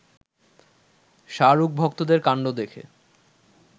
শাহরুখ ভক্তদের কাণ্ড দেখে